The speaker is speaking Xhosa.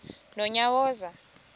nonyawoza